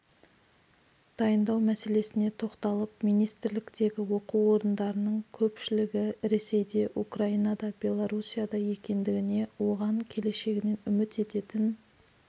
дайындау мәселесіне тоқталып министрліктегі оқу орындардың көпшілігі ресейде украинада белоруссияда екендігіне оған келешегінен үміт ететін